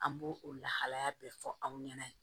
An b'o o lahalaya bɛɛ fɔ aw ɲɛna